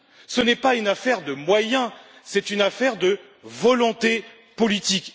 Ce n'est pas une affaire de moyens, c'est une affaire de volonté politique.